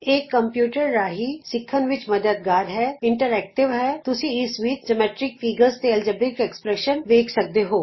ਇਹ ਕੰਪਯੂਟਰ ਰਾਹੀਂ ਸਿੱਖਣ ਵਿਚ ਮੱਦਦਗਾਰ ਹੈ ਕਿਉਂਕਿ ਇਹ ਆਪਸ ਵਿਚ ਇੰਟਰਐਕਟਿਵ ਹੈ ਅਤੇ ਤੁਸੀਂ ਇਸ ਵਿਚ ਜਿਓਮੈਟਰੀਕ ਫਿਗਰਜ਼ ਦੇ ਬੀਜਗਣਿਤ ਸਮੀਕਰਨ ਵਗੈਰਹ ਦੇਖ ਸਕਦੇ ਹੋ